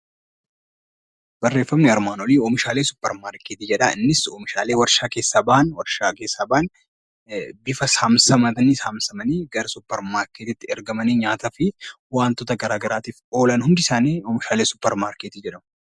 Barreeffamni armaan olii barreeffama suupermaarkeetii jedha. Innis oomishaalee warshaa keessaa bahan, bifa samsamaniin suupermaarkeetiitti ergamanii nyaataa fi waantota garaagaraatiif oolan hundi isaanii oomishaalee suupermaarkeetii jedhamu.